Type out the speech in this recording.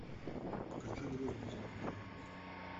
покажи груз без маркировки